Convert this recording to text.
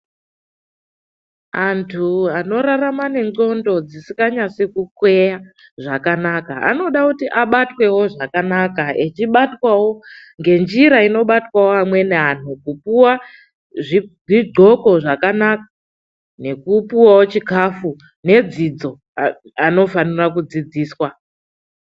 Anthu anorarama nenxondo dzisikanyasi kukweya zvakanaka. Anoda kuti abatwewo zvakanaka, echibatwawo ngenjira inobatwawo amweni anthu nekupuwa zvixoko zvakanaka, nekupuwawo chikafu nefundo. Vanofanirawo kufundiswa.